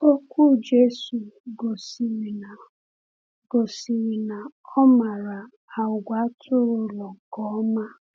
Okwu Jésù gosiri na gosiri na ọ maara àgwà atụrụ ụlọ nke ọma.